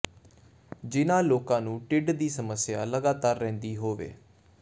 ਜਿਨ੍ਹਾਂ ਲੋਕਾਂ ਨੂੰ ਢਿੱਡ ਦੀ ਸਮੱਸਿਆ ਲਗਾਤਾਰ ਰਹਿੰਦੀ ਹੋਵੇ